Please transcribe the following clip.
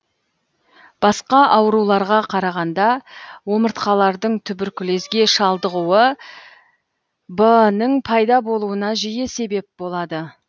басқа ауруларға қарағанда омыртқалардың туберкулезге шалдығуы бнің пайда болуына жиі себеп болады